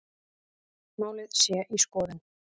Málið sé í skoðun